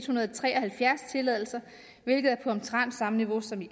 hundrede og tre og halvfjerds tilladelser hvilket er på omtrent samme niveau som i